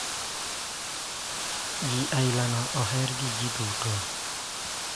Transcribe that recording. Ji aila no oher gi ji duto.